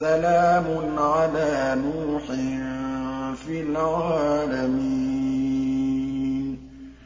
سَلَامٌ عَلَىٰ نُوحٍ فِي الْعَالَمِينَ